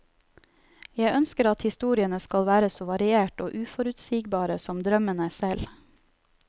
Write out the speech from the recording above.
Jeg ønsker at historiene skal være så variert og uforutsigbare som drømmene selv.